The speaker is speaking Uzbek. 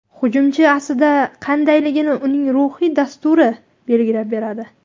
Hujumchi aslida qandaylini uning ruhiy dasturi belgilab beradi.